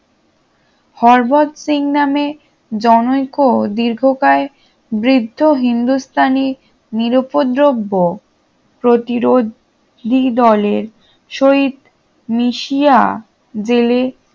হরবত সিং নামে জনৈক দীর্ঘকায় বৃদ্ধ হিন্দুস্তানি নিরুপদ্রব্য প্রতিরোধ দ্বিদলের সহিত মিশিয়া জেলে